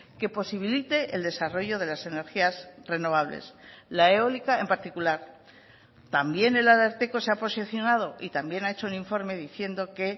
que posibilite el desarrollo de las energías renovables la eólica en particular también el ararteko se ha posicionado y también ha hecho un informe diciendo que